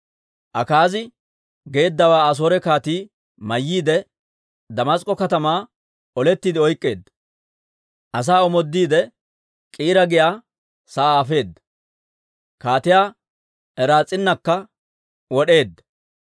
Akaazi geeddawaa Asoore kaatii mayyiide, Damask'k'o katamaa olettiide oyk'k'eedda. Asaa omoodiide, K'iira giyaa sa'aa afeedda; Kaatiyaa Raas'iinakka wod'eedda.